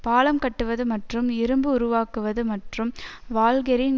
பாலம் கட்டுவது மற்றும் இரும்பு உருவாக்குவது மற்றும் வால்கெரின்